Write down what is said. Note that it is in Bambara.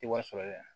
Ti wari sɔrɔ yɛrɛ